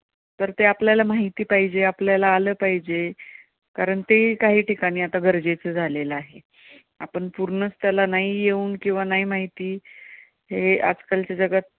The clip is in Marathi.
बरं ते आपल्याला माहिती पाहिजे, आपल्याला आलं पाहिजे कारण ते कांही ठिकाणी आता गरजेचं झालेलं आहे. आपण पूर्णच त्याला नाही येऊन किंवा नाही माहिती हे आजकालच्या जगात